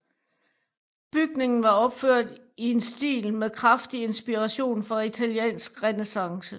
Bygningen var opført i en stil med kraftig inspiration fra italiensk renæssance